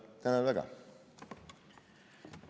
Tänan väga!